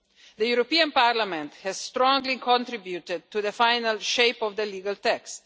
The European Parliament has strongly contributed to the final shape of the legal text.